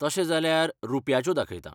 तशें जाल्यार रुप्याच्यो दाखयतां.